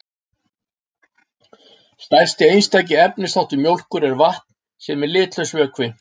Stærsti einstaki efnisþáttur mjólkur er vatn sem er litlaus vökvi.